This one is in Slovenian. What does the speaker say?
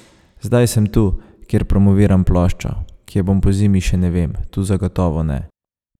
Zdaj sem tu, kjer promoviram ploščo, kje bom pozimi, še ne vem, tu zagotovo ne.